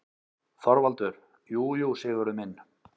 ÞORVALDUR: Jú, jú, Sigurður minn.